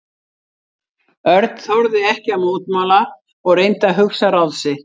Örn þorði ekki að mótmæla og reyndi að hugsa ráð sitt.